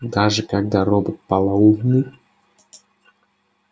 даже когда робот полоумный